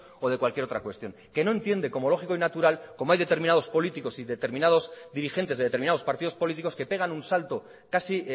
o de cualquier otra cuestión que no entiende como lógico y natural cómo hay determinados políticos y determinados dirigentes de determinados partidos políticos que pegan un salto casi